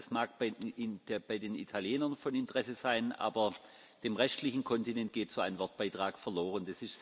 Das mag bei den Italienern von Interesse sein, aber dem restlichen Kontinent geht so ein Wortbeitrag verloren.